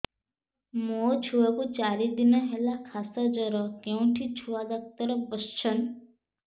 ମୋ ଛୁଆ କୁ ଚାରି ଦିନ ହେଲା ଖାସ ଜର କେଉଁଠି ଛୁଆ ଡାକ୍ତର ଵସ୍ଛନ୍